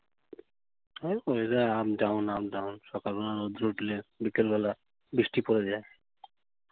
হ্যাঁ, weather up-down, up-down সকালবেলা রোদ উঠলে বিকালবেলা বৃষ্টি পড়ে যায়।